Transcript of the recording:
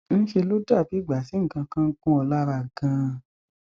ńṣe ló dà bí ìgbà tí nǹkan kan ń gún ọ lára ganan